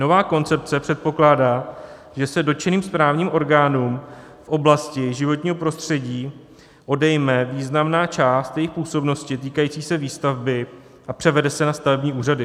Nová koncepce předpokládá, že se dotčeným správním orgánům v oblasti životního prostředí odejme významná část jejich působnosti týkající se výstavby a převede se na stavební úřady.